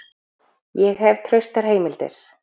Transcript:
Ég hef traustar heimildir.